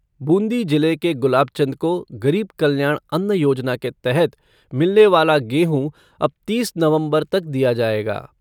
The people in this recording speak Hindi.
बूंदी जिले के गुलाब चंद को गरीब कल्याण अन्न योजना के तहत मिलने वाला गेहूं अब तीस नवंबर तक दिया जाएगा।